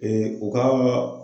u ka